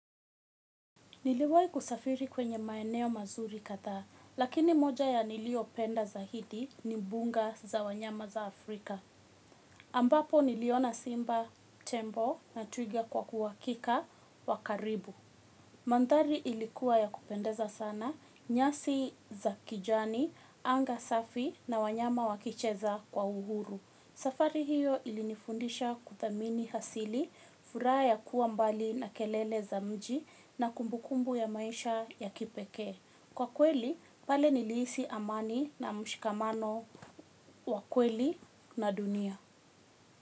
Niliwahi kusafiri kwenye maeneo mazuri kadhaa lakini moja ya niliyo penda zaidi ni mbuga za wanyama za Afrika. Ambapo niliona simba, tembo na twigi kwa uhakika wa karibu. Mandhari ilikuwa ya kupendeza sana nyasi za kijani anga safi na wanyama wakicheza kwa uhuru. Safari hiyo ilinifundisha kudhamini asili, furaha ya kuwa mbali na kelele za mji na kumbukumbu ya maisha ya kipeke. Kwa kweli, pale niliisi amani na mshikamano wa kweli na dunia.